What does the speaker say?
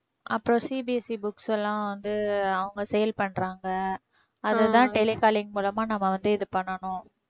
அப்புறம் CBSE books எல்லாம் வந்து அவங்க வந்து அவங்க sale பண்றாங்க. அதை தான் telecalling மூலமா நம்ம வந்து இது பண்ணனும்